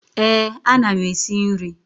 Eh, a na m esi nri.